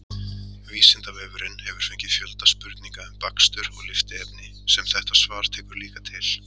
Vísindavefurinn hefur fengið fjölda spurninga um bakstur og lyftiefni sem þetta svar tekur líka til.